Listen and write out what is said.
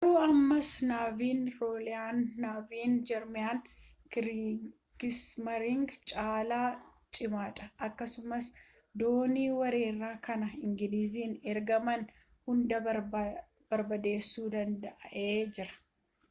garuu ammas naaviin rooyaal naavii jarman kiriigismaariin caala cimaadha akkasumas doonii weerara karaa engiliiziin ergaman hunda barbadeessuu danda’ee jira